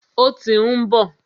Ó tí ń bọ̀.